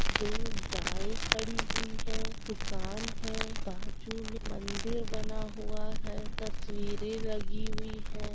दो गाय खड़ी हुई है दूकान है बाजु में मंदिर बना हुआ है तस्वीरें लगी हुई है ।